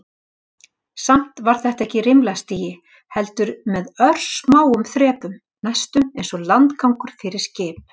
Samt var þetta ekki rimlastigi, heldur með örsmáum þrepum, næstum einsog landgangur fyrir skip.